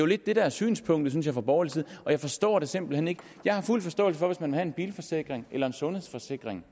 lidt det der er synspunktet synes jeg fra borgerlig side og jeg forstår det simpelt hen ikke jeg har fuld forståelse for at man vil have en bilforsikring eller en sundhedsforsikring